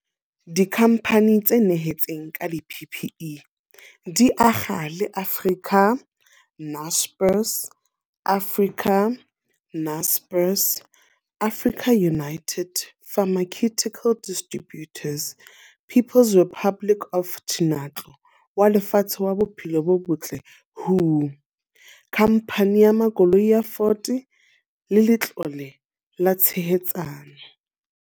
Dikhamphane tse nyehetseng ka di-PPE di akga le Africa, Naspers, Africa, Naspers, AfricaUnited Pharmaceutical Distributors, People's Republic of wa Lefatshe wa Bophelo bo Botle, WHO, Khamphane ya Makoloi ya Ford le Letlole la Tshehetsano.